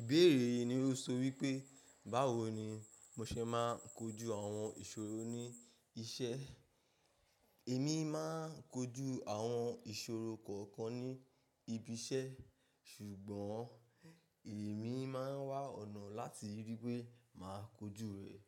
Ìbéèrè yìí ni ó so wípé, báwo ni mo se máa ń kojú àwọn ìṣòro ní iṣẹ́? Èmi máa ń kojú àwọn ìṣòro kọ̀ọ̀kan ní ibi iṣẹ́ ṣùgbọ́n èmi máa ń wá ọ̀nà láti ríi wípé màá kojú rẹ̀.